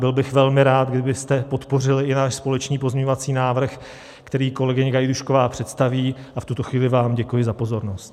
Byl bych velmi rád, kdybyste podpořili i náš společný pozměňovací návrh, který kolegyně Gajdůšková představí, a v tuto chvíli vám děkuji za pozornost.